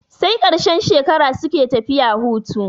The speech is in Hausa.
Sai ƙarshen shekara suke tafiya hutu.